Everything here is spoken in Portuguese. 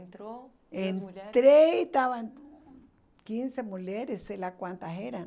Entrou, entrei e estavam quinze mulheres, sei lá quantas eram.